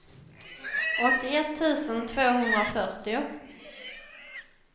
åttioett tusen tvåhundrafyrtio